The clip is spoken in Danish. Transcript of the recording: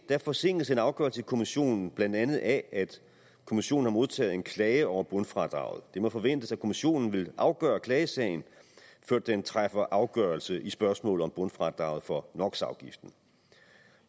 forsinkes en afgørelse i kommissionen blandt andet af at kommissionen har modtaget en klage over bundfradraget det må forventes at kommissionen vil afgøre klagesagen før den træffer afgørelse i spørgsmålet om bundfradraget for